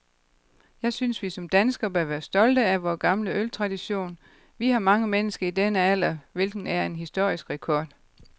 Jeg synes, vi som danskere bør være stolte af vor gamle øltradition. Vi har mange mennesker i denne alder, hvilket er en historisk rekord.